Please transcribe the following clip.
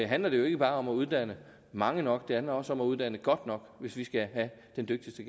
handler det jo ikke bare om at uddanne mange nok det handler også om at uddanne godt nok hvis vi skal have den dygtigste